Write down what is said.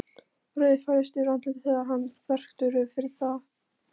Roði færist yfir andlitið þegar hann þvertekur fyrir það.